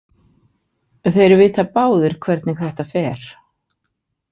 Þeir vita báðir hvernig þetta fer.